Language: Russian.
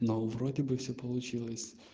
но вроде бы все получилось